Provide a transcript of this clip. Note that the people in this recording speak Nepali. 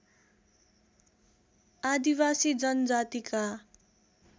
आदिवासी जनजातिका